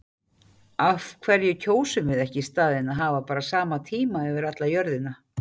Af hverju kjósum við ekki í staðinn að hafa bara sama tíma yfir alla jörðina?